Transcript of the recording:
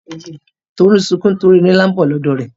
Tolú sunkún nítorí erin ńlá lọ ní bọ̀ lọ́dọ̀ rẹ̀.